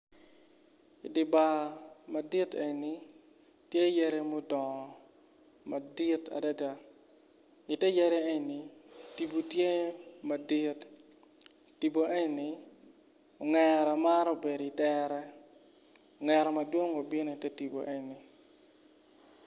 Idi bar madit eni tye yadi mudongo madit adada ite yadi eni tipo tye madit tipo eni ongera maro bedo itere ongera madwong bene bino ite tipo eni.